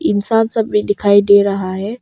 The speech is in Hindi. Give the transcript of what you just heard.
इंसान सब भी दिखाई दे रहा है।